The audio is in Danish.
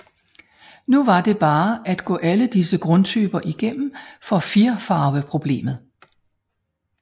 Nu var det bare at gå alle disse grundtyper igennem for firfarveproblemet